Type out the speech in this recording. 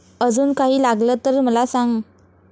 अजून काही लागलं तर मला सांग.